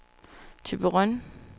Thyborøn